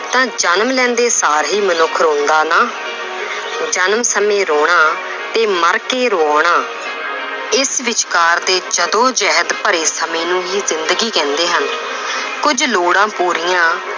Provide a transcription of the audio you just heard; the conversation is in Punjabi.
ਤਾਂ ਜਨਮ ਲੈਂਦੇ ਸਾਰ ਹੀ ਮਨੁੱਖ ਰੋਂਦਾ ਨਾ ਜਨਮ ਸਮੇਂ ਰੌਣਾ ਤੇ ਮਰਕੇ ਰਵਾਉਣਾ ਇਸ ਵਿਚਕਾਰ ਦੇ ਜੱਦੋ ਜਹਿਦ ਭਰੇ ਸਮੇਂ ਨੂੰ ਹੀ ਜ਼ਿੰਦਗੀ ਕਹਿੰਦੇ ਹਨ ਕੁੱਝ ਲੋੜਾਂ ਪੂਰੀਆਂ